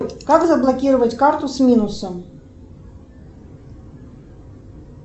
как заблокировать карту с минусом